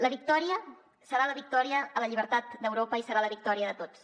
la victòria serà la victòria a la llibertat d’europa i serà la victòria de tots